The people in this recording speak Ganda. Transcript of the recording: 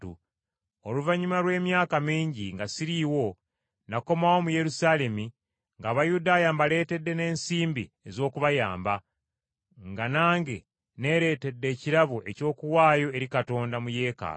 “Oluvannyuma lw’emyaka mingi, nga siriiwo, nakomawo mu Yerusaalemi ng’Abayudaaya mbaleetedde n’ensimbi ez’okubayamba, nga nange neeretedde ekirabo eky’okuwaayo eri Katonda mu Yeekaalu.